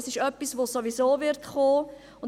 Es ist etwas, das sowieso kommen wird.